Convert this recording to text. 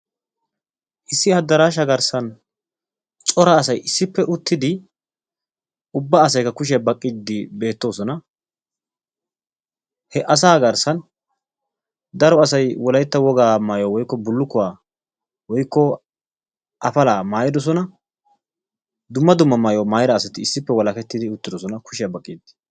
issi adaarashaa garsan cora asay issippe uttidi ubba asaykka kushiya baqiidi beetoosona. he asa garsan daro asay wolaytta wogaa maayuwa bullukkuwa woykko maayuwa maayiidi beetoosona